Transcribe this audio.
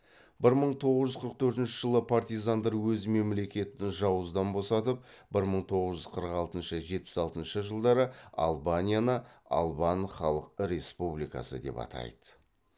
бір мың тоғыз жүз қырық төртінші партизандар өз мемлекетін жауыздан босатып бір мың тоғыз жүз қырық алтыншы жетпіс алтыншы жылдары албанияны албан халық республикасы деп атайды